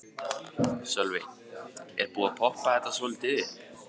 Sölvi: Er búið að poppa þetta svolítið upp?